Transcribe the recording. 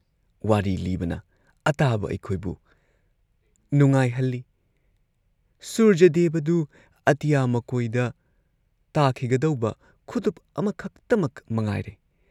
ꯋꯥꯔꯤ ꯂꯤꯕꯅ ꯑꯇꯥꯕ ꯑꯩꯈꯣꯏꯕꯨ ꯅꯨꯡꯉꯥꯏꯍꯜꯂꯤ ꯁꯨꯔꯖꯗꯦꯕꯗꯨ ꯑꯇꯤꯌꯥ ꯃꯀꯣꯏꯗ ꯇꯥꯈꯤꯒꯗꯧꯕ ꯈꯨꯗꯨꯞ ꯑꯃꯈꯇꯃꯛ ꯃꯉꯥꯏꯔꯦ ꯫